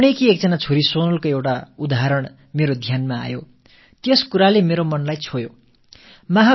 புனேயைச் சேர்ந்த ஒரு பெண் சோனலின் எடுத்துக்காட்டு என் கவனத்தைக் கவர்ந்தது இது என் மனதை வருடியது